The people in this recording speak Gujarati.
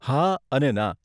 હા અને ના.